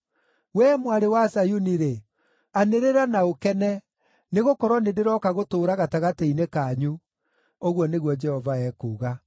“Wee Mwarĩ wa Zayuni-rĩ, anĩrĩra na ũkene, nĩgũkorwo nĩndĩrooka gũtũũra gatagatĩ-inĩ kanyu,” ũguo nĩguo Jehova ekuuga.